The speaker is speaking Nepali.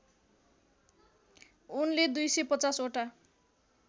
उनले २५० वटा